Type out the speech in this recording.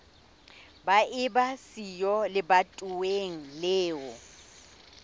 ba eba siyo lebatoweng leo